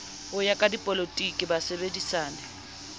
ho ya ka dipolotiki basebedisani